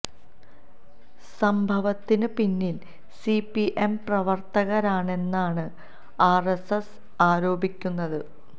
സംഭവത്തിന് പിന്നില് C P M പ്രവര്ത്തകരാണെന്നാണ് ആര് എസ് എസ് ആരോപിക്കുന്നത്